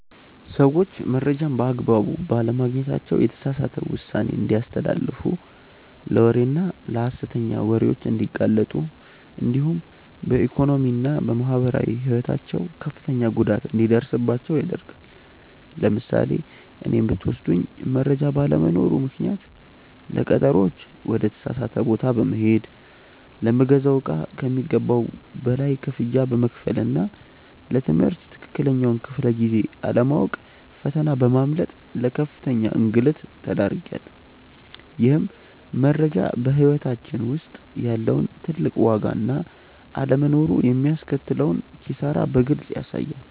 ሰዎች መረጃን በአግባቡ ባለማግኘታቸው የተሳሳተ ውሳኔ እንዲያስተላልፉ ለወሬና ለሐሰተኛ ወሬዎች እንዲጋለጡ እንዲሁም በኢኮኖሚና በማህበራዊ ሕይወታቸው ከፍተኛ ጉዳት እንዲደርስባቸው ያደርጋል። ለምሳሌ እኔን ብትወስዱኝ መረጃ ባለመኖሩ ምክንያት ለቀጠሮዎች ወደ ተሳሳተ ቦታ በመሄድ፣ ለምገዛው እቃ ከሚገባው በላይ ክፍያ በመክፈልና ለ ትምህርት ትክክለኛውን ክፍለ-ጊዜ አለማወቅ ፈተና በማምለጥ ለከፍተኛ እንግልት ተዳርጌያለሁ። ይህም መረጃ በሕይወታችን ውስጥ ያለውን ትልቅ ዋጋና አለመኖሩ የሚያስከትለውን ኪሳራ በግልጽ ያሳያል።